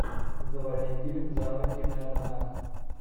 заводи фильм жанра киноальманах